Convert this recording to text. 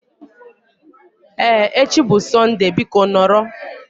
Ee, echi bụ Sọnde biko nọrọ